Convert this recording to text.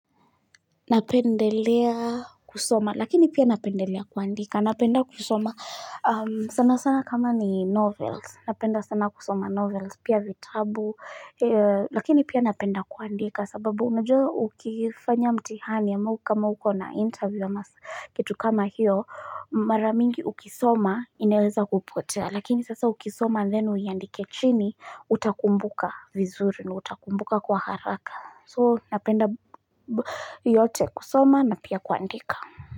Napendelea kusoma, lakini pia napendelea kuandika, napenda kusoma sana sana kama ni novels, napenda sana kusoma novels, pia vitabu Lakini pia napenda kuandika, sababu unajua ukifanya mtihani ama kama uko na interview ama Kitu kama hiyo, mara mingi ukisoma inaweza kupotea Lakini sasa ukisoma and then uiandike chini, utakumbuka vizuri, na utakumbuka kwa haraka so napenda yote kusoma na pia kuandika.